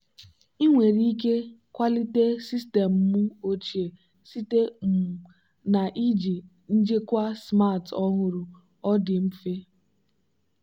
ị nwere ike kwalite sistemụ ochie site um na iji njikwa smart ọhụrụ ọ dị mfe.